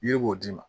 Yiri b'o d'i ma